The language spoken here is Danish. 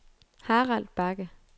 Harald Bagge